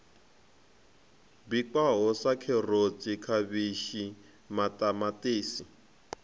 bikwaho sa kherotsi khavhishi maṱamaṱisi